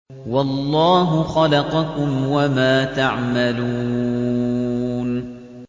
وَاللَّهُ خَلَقَكُمْ وَمَا تَعْمَلُونَ